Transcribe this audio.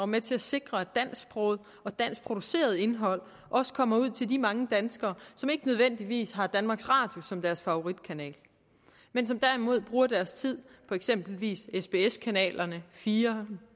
med til at sikre at dansksproget og danskproduceret indhold også kommer ud til de mange danskere som ikke nødvendigvis har danmarks radio som deres favoritkanal men som derimod bruger deres tid på eksempelvis sbs kanalerne fire